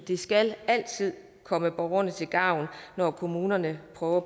det skal altid komme borgerne til gavn når kommunerne prøver